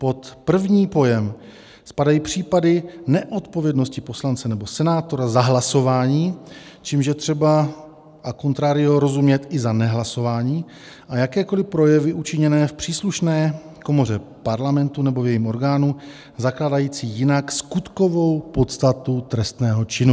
Pod první pojem spadají případy neodpovědnosti poslance nebo senátora za hlasování, čímž je třeba a contrario rozumět i za nehlasování a jakékoliv projevy učiněné v příslušné komoře Parlamentu nebo v jejím orgánu, zakládající jinak skutkovou podstatu trestného činu.